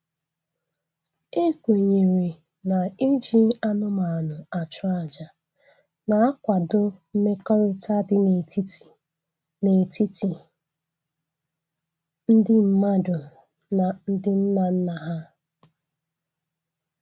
E kwenyere na-iji anụmanụ achụ aja na-akwado mmekọrịta dị n'etiti n'etiti ndị mmadụ na ndị nnanna ha